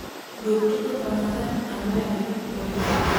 duog tugo kama ne awaye audible